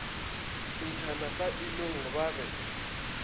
ntšhana sa inong ba be